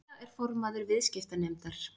Lilja er formaður viðskiptanefndar